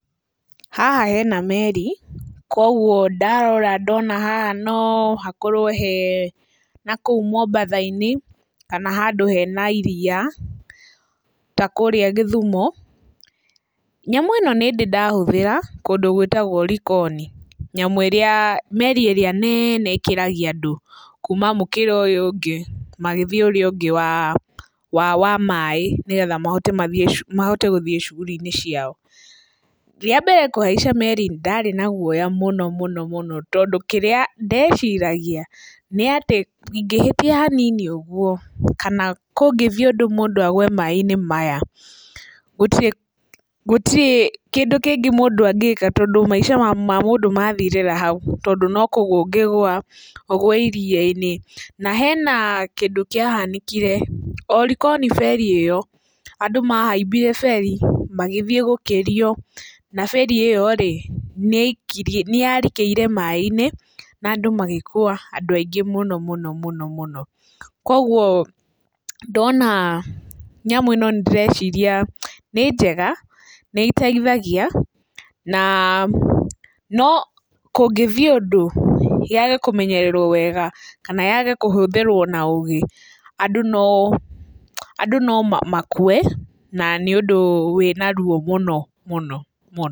Haha hena meri koguo ndarora ndona haha no hakorwo hee nakũu Mombatha-inĩ, kana handu hena iria ta kũrĩa Gĩthumo. Nyamũ ĩno nĩndĩ ndahũthĩra kũndũ gwĩtagwo Likoni, meri ĩrĩa nene ĩkĩragia andũ kuma mũkĩra ũrĩa ũngĩ magĩthiĩ ũrĩa ũngĩ wa maaĩ, nĩgetha mahote gũthiĩ cuguri-inĩ ciao. Rĩa mbere kũhaica meri ndarĩ na guoya mũno mũno mũno, tondũ kĩrĩa ndeciragia, nĩ atĩ ingĩhĩtia hanini ũguo kana kũngĩthiĩ ũndũ mũndũ agwe maaĩ-inĩ maya gũtirĩ gũtirĩ kĩndũ kĩngĩ mũndũ angĩka, tondũ maica ma mũndũ mathirĩra hau, tondũ no kũgũa ũngĩgũa ũgwe iria-inĩ. Na hena kĩndũ kĩahanĩkire o likoni beri ĩyo, andũ mahambire beri magĩthiĩ gũkĩrio, na beri ĩyo nĩyarikĩire maaĩ-inĩ, na andũ magĩkua andũ aingĩ mũno mũno mũno. Koguo ndona nyamũ ĩno ndĩreciria nĩ njega, nĩĩteithagia, no kũngĩthiĩ ũndũ yage kũmenyererwo wega kana yage kũhũthĩrwo na ũgĩ, andũ no makue na nĩ ũndũ wĩna ruo mũno mũno mũno.